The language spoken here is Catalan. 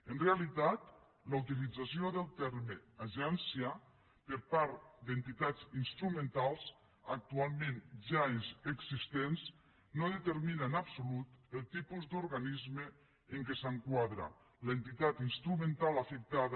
en realitat la utilització del terme agència per part d’entitats instrumentals actualment ja existents no determina en absolut el tipus d’organisme en què s’enquadra l’entitat instrumental afectada